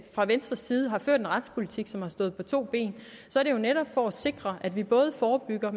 fra venstres side har ført en retspolitik som står på to ben så er det jo netop for at sikre at vi både forebygger og